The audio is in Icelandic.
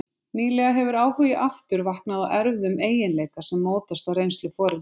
Nýlega hefur áhugi aftur vaknað á erfðum eiginleika sem mótast af reynslu foreldra.